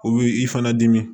O bi i fana dimi